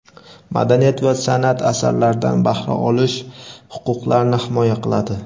madaniyat va sanʼat asarlaridan bahra olish huquqlarini himoya qiladi.